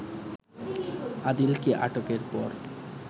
আদিলকে আটকের পর